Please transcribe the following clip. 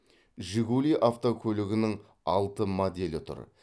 жигули автокөлігінің алты моделі тұр